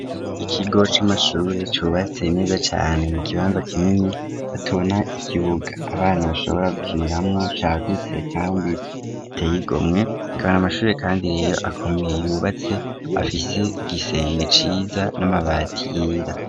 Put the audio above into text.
Ikigo c'amashuri cubatse neza cane mu kibanza kinini batabona ikibuga abana bashobora gukiniramwo cagutse kandi giteyigomwe kibana amashuri kandi rero akomeye yubatse afite igisenge ciza n'amabati yera.